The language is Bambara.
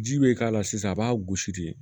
Ji bɛ k'a la sisan a b'a gosi de